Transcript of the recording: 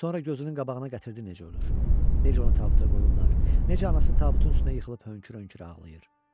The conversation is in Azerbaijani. Sonra gözünün qabağına gətirdi necə ölür, necə onu tabuta qoyurlar, necə anası tabutun üstünə yıxılıb hönkür-hönkürə ağlayır.